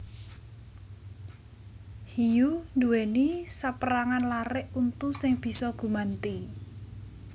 Hiyu nduwèni sapérangan larik untu sing bisa gumanti